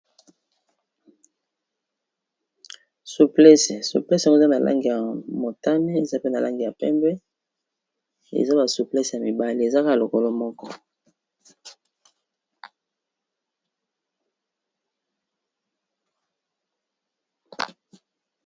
Suplece, suplese yango eza na lange ya motane eza pe na langi ya pembe eza ba suplece ya mibale ezaka lokolo moko.